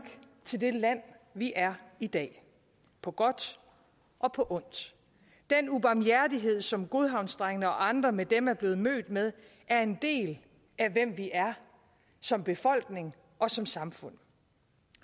til det land vi er i dag på godt og på ondt den ubarmhjertighed som godhavnsdrengene og andre med dem er blevet mødt med er en del af hvem vi er som befolkning og som samfund